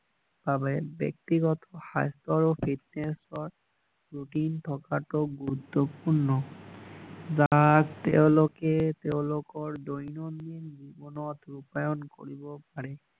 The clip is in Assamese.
বাবে ব্যক্তিগত স্বাস্থ্য আৰু ফিত্নেচৰ ত ৰুটিন থকাটো গুৰুত্বপূৰ্ণ বা তেওঁলোকে তেওঁলোকৰ দৈনন্দিন জীৱনত ৰূপায়ন কৰিব পাৰে